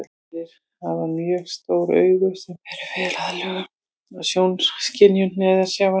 Selir hafa mjög stór augu sem eru vel aðlöguð að sjónskynjun neðansjávar.